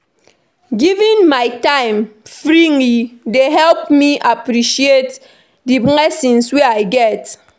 Giving my time freely dey help me appreciate the blessings wey I get.